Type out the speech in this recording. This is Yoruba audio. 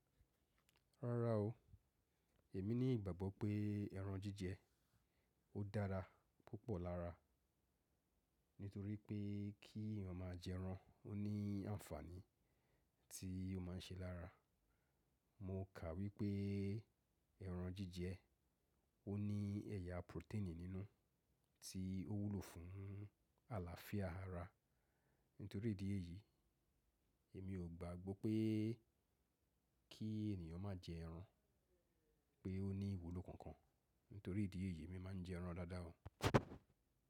Rárá o, èmi ní ìgbàgbọ́ pé ẹran jíjẹ ó dára púpọ̀ lára, nítorí pé kí ẹ̀yàn máa jẹ ẹran ó ní àǹfààní tí ó máa ń ṣe lára. Mo kà wípé ẹran jíjẹ ó ní ẹ̀yà protein nínú tí ó wúlò fún àlàáfíà ara. Nítorí ìdí èyí, èmi ò gbàgbọ́ pé kí ènìyàn má jẹ ẹran pé ó ní ìwúlò kankan. Nítorí ìdí èyí èmi máa ń jẹ ẹran dáadáa o.